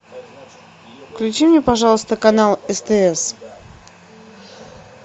включи мне пожалуйста канал стс